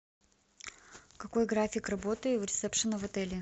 какой график работы у ресепшена в отеле